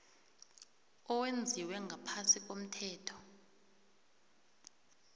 owenziwe ngaphasi komthetho